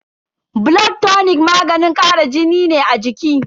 Blood tonic maganin kara jini ne a jiki.